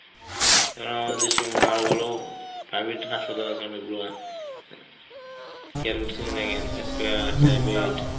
কারণ আমাদের দেশের ভালো ভালো private হাসপাতাল আছে অনেকগুলা care .